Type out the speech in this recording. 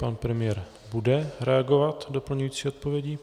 Pan premiér bude reagovat doplňující odpovědí.